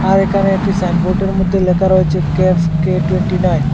আর এখানে একটি সাইনবোর্ডের মধ্যে লেখা রয়েছে কেফকে টুয়েন্টিনাইন ।